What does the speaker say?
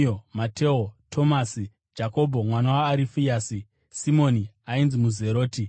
Mateo, Tomasi, Jakobho mwanakomana waArifeasi, Simoni ainzi muZeroti,